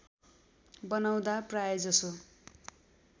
बनाउँदा प्रायजसो